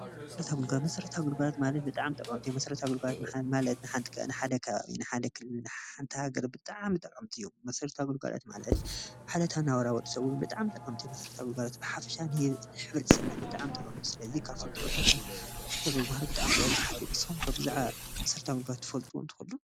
መሰርታዊ ግልጋሎት፦ መሰርታዊ ግልጋሎት ማለት ብጣዕሚ ጠቐምቲ እዮም። መሰርታዊ ግልጋሎት ማለት ንሓደ ከባቢ ንሓደ ክልል ንሓንቲ ሃገር ብጣዕሚ ጠቐምቲ እዮም። መሰርታዊ ግልጋሎት ማለት ዕለታዊ ናብራ ወዲ ሰብ ብጣዕሚ ጠቐምቲ እዮም። መሰርታዊ ግልጋሎት ብሓፈሻ ንሕብረተሰብና ብጣዕሚ ጠቐምቲ እዮም። ስለዚ ካብ ጥቅምታት መሰርታዊ ግልጋሎት ብጣዕሚ ቡዙሓት እዮም። ንስኩም ከ ብዛዕባ መሰርታዊ ግልጋሎት ትፈልጡ ትክእሉ ?